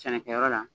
Sɛnɛkɛyɔrɔ la